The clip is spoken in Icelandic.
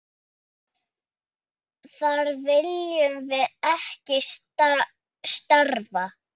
Þar viljum við ekki starfa.